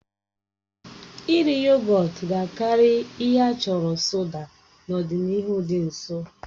Iri yogọt ga-akarị ihe a chọrọ soda n'ọdịnihu dị nso.